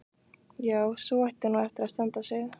Já, sú ætti nú eftir að standa sig.